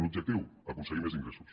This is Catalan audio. l’objectiu aconseguir més ingressos